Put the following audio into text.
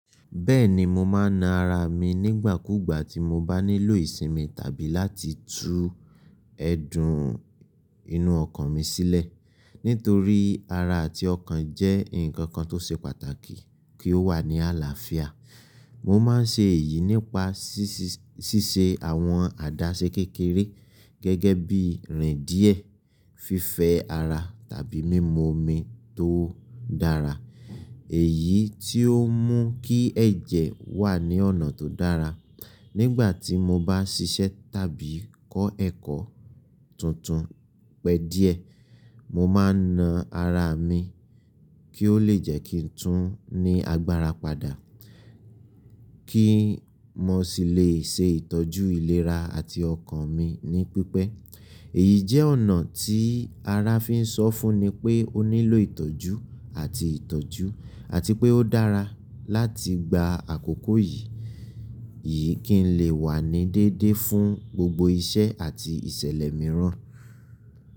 Bẹ́ẹ̀ni, mo máa na ara mi nígbàkúùgbà gbà tí mo bá nílò ìsinmi tàbí láti tu ẹ̀dùn inú ọkàn mi sílẹ̀. Nítorí ara àti ọkàn jẹ́ ǹkan kan tó ṣe pàtàkì kí ó wà ní àlàáfíà. Mo máa ń ṣe èyí nípa ṣíṣe àwọn àdáṣẹ kékeré gẹ́gẹ́ bí rìn díẹ̀, fífẹ́ ara tàbí mímu omi tó dára, èyí tí ó mú kí ẹ̀jẹ̀ wà ní ọ̀nà tó dára. Nígbà tí mo bá ṣiṣẹ́ tàbí kọ́ ẹ̀kọ́ tuntun pẹ́ díẹ̀, mo máa na ara mi kí ó lè jẹ́ kí n tún ní agbára padà kí mo sì lè ṣe ìtọ́jú ìlera àti ọkàn mi ní pípẹ́. Èyí jẹ́ ọ̀nà tí ara fi ń sọ fún ni pé ó nílò ìtọ́jú àti ìtọ́jú àti pé ó dára láti gba àkókò yìí. Yii, kí n lè wà ní dédé fún gbogbo iṣẹ́ àti ìṣẹ̀lẹ̀ mìíràn.